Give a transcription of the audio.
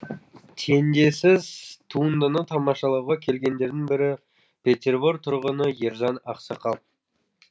теңдессіз туындыны тамашалауға келгендердің бірі петербор тұрғыны ержан ақсақал